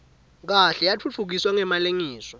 kahle yatfutfukiswa ngemalengiso